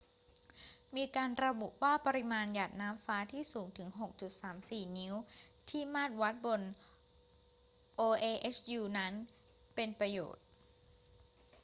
มีการระบุว่าปริมาณหยาดน้ำฟ้าที่สูงถึง 6.34 นิ้วที่มาตรวัดบน oahu นั้น เป็นประโยชน์